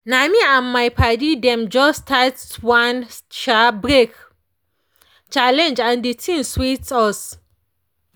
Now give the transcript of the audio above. me and my padi dem just start one um break challenge and the thing sweet us.